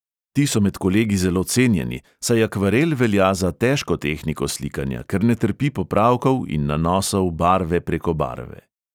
Ti so med kolegi zelo cenjeni, saj akvarel velja za težko tehniko slikanja, ker ne trpi popravkov in nanosov barve preko barve.